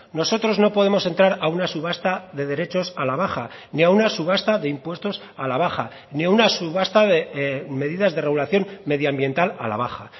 nosotros no podemos entrar a una subasta de derechos a la baja ni a una subasta de impuestos a la baja ni a una subasta de medidas de regulación medioambiental a la baja